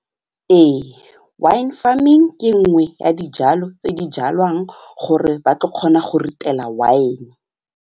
Ee wine farming ke nngwe ya dijalo tse di jalwang gore ba tlo kgona go ritela wine.